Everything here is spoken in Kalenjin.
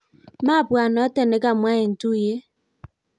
mwabwat noto ne kemwa eng tuyie